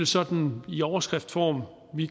sådan i overskriftsform